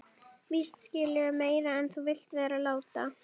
Víst skilurðu meira en þú vilt vera láta.